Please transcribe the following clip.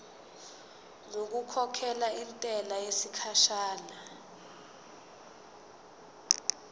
ngokukhokhela intela yesikhashana